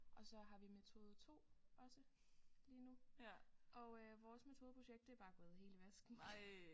Og så har vi metode 2 også lige nu og vores metodeprojekt det er bare gået helt i vasken